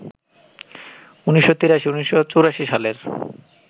১৯৮৩, ১৯৮৪ সালের